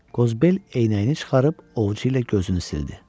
Qozbel eynəyini çıxarıb ovucu ilə gözünü sildi.